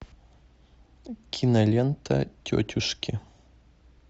кинолента тетушки